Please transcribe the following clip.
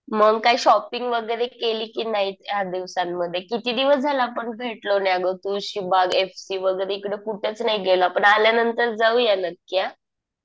मंग काय शॉपिंग वगैरे केली कि नाही ह्या दिवसांमध्ये? किती दिवस झाले आपण भेटलो नाही अगं. तुळशीबाग, एफ सी वगैरे इकडे कुठंच नाही गेलो आपण. आल्यानंतर जाऊया नक्की हा.